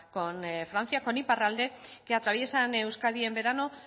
con francia con iparralde que atraviesan euskadi en verano